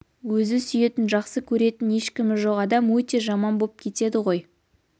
өзі сүйетін жақсы көретін ешкімі жоқ адам өте жаман боп кетеді ғой